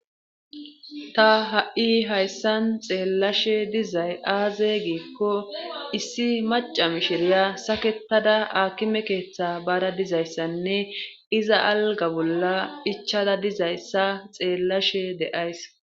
Ta ha'i hayssan xeellashe dizay aaze giikko issi maca mishiriya saketada aakime keeththe baara dizayssanne iza alga bolla ichada dizayssa xeellashe deays.